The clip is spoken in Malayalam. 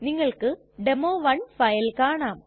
നിങ്ങൾക്ക് ഡെമോ 1 ഫയൽ കാണാം